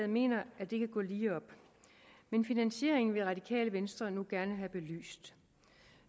mener at det kan gå lige op men finansieringen vil radikale venstre nu gerne have belyst